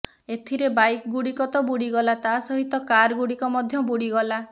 ଏଥିରେ ବାଇକ ଗୁଡ଼ିକ ତ ବୁଡ଼ିଗଲା ତା ସହିତ କାର ଗୁଡ଼ିକ ମଧ୍ୟ ବୁଡ଼ିଗଲା